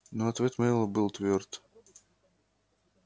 но ответ мэллоу был твёрд